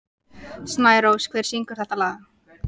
Snærós, hver syngur þetta lag?